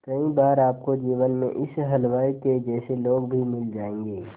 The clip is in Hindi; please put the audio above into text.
कई बार आपको जीवन में इस हलवाई के जैसे लोग भी मिल जाएंगे